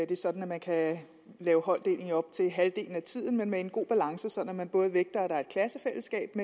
det sådan at man kan lave holddeling i op til halvdelen af tiden men være en god balance så man både vægter at der er et klassefællesskab